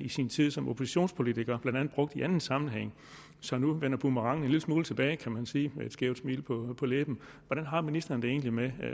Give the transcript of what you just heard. i sin tid som oppositionspolitiker blandt andet brugte i anden sammenhæng så nu vender boomerangen en lille smule tilbage kan man sige med et skævt smil på læberne hvordan har ministeren det egentlig med